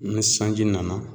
Ni sanji nana